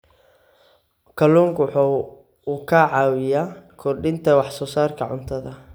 Kalluunku waxa uu caawiyaa kordhinta wax soo saarka cuntada.